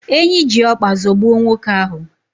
Enyi ji ọkpa zọgbuo nwoke ahu